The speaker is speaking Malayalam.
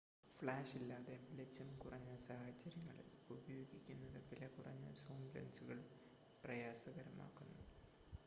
ഫ്ലാഷില്ലാതെ വെളിച്ചം കുറഞ്ഞ സാഹചര്യങ്ങളിൽ ഉപയോഗിക്കുന്നത് വിലകുറഞ്ഞ സൂം ലെൻസുകൾ പ്രയാസകരമാക്കുന്നു